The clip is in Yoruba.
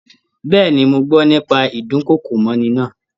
Bẹ́ẹ̀ni, mọ gbọ́ nípa ídùnkokò mọ́'ni náà